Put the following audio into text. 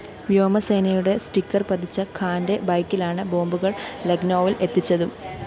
വ്യോമസേനയുടെ സ്റ്റിക്കർ പതിച്ച ഖാന്റെ ബൈക്കിലാണ് ബോംബുകള്‍ ലക്‌നൗവില്‍ എത്തിച്ചതും